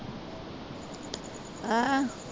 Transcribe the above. ਹੈਂ?